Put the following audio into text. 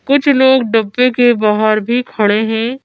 कुछ लोग डब्बे के बाहर भी खड़े हैं।